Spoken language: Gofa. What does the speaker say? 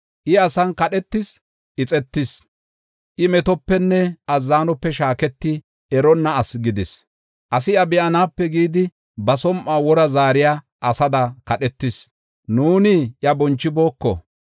I asan kadhetis, ixetis; I metopenne azzanope shaaketi eronna asi gidis. Asi iya be7anaape gidi ba som7uwa wora zaariya asada kadhetis; nuuni iya bonchibooko.